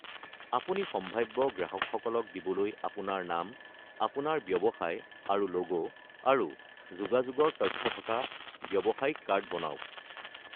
আপুনি সাম্ভাব্য গ্ৰাহকসকলক দিবলৈ আপোনাৰ নাম, আপোনাৰ ব্যৱসায় আৰু লোগো, আৰু যোগাযোগৰ তথ্য থকা ব্যৱসায়িক কাৰ্ড বনাওক।